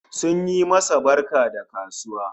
Sun yi masa barka da kasuwa